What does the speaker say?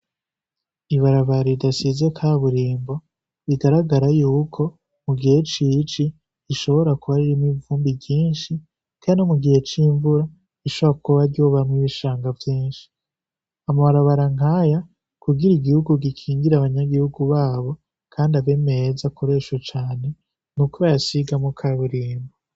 Ibarabara ridasize kaburimbo, rigaragara yuko mugihe c'ici ririmwo ivumbi ryinshi. Kandi mugihe c'imvura rishobora kuba ryobamwo ibishanga vyinshi. Amabarabara nkayo kugira igihugu gikingire abanyagihugu babo kandi abe meza akoreshwe cane, nuko bayasigamwo kaburimbo.